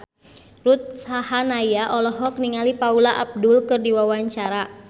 Ruth Sahanaya olohok ningali Paula Abdul keur diwawancara